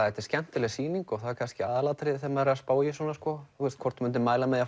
þetta er skemmtileg sýning og það er kannski aðalatriðið þegar maður er að spá í svona hvort maður mæli með